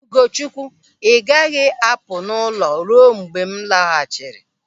Ugochukwu, ị gaghị apụ n'ụlọ ruo mgbe m lọghachiri.